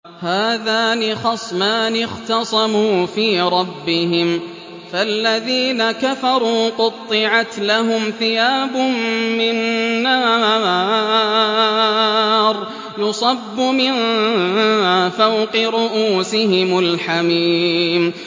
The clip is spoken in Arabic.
۞ هَٰذَانِ خَصْمَانِ اخْتَصَمُوا فِي رَبِّهِمْ ۖ فَالَّذِينَ كَفَرُوا قُطِّعَتْ لَهُمْ ثِيَابٌ مِّن نَّارٍ يُصَبُّ مِن فَوْقِ رُءُوسِهِمُ الْحَمِيمُ